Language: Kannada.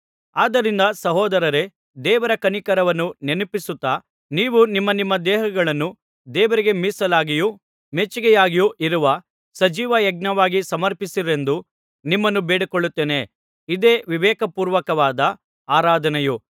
ಆದ್ದರಿಂದ ಸಹೋದರರೇ ದೇವರ ಕನಿಕರವನ್ನು ನೆನಪಿಸುತ್ತಾ ನೀವು ನಿಮ್ಮ ನಿಮ್ಮ ದೇಹಗಳನ್ನು ದೇವರಿಗೆ ಮೀಸಲಾಗಿಯೂ ಮೆಚ್ಚಿಕೆಯಾಗಿಯೂ ಇರುವ ಸಜೀವ ಯಜ್ಞವಾಗಿ ಸಮರ್ಪಿಸಿರೆಂದು ನಿಮ್ಮನ್ನು ಬೇಡಿಕೊಳ್ಳುತ್ತೇನೆ ಇದೇ ವಿವೇಕ ಪೂರ್ವಕವಾದ ಆರಾಧನೆಯು